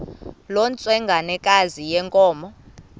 loo ntsengwanekazi yenkomo